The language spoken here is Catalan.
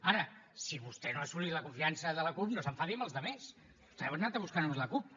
ara si vostè no ha assolit la confiança de la cup no s’enfadi amb els altres vostè ha anat a buscar només la cup